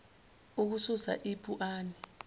ukusula ipu ani